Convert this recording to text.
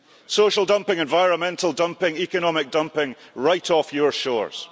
Social dumping, environmental dumping, economic dumping, right off your shores